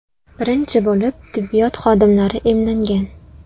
Birinchi bo‘lib tibbiyot xodimlari emlangan.